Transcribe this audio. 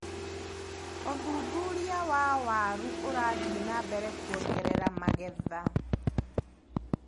ũthuthuria wa waru ũrathi nambere kuongerera magetha.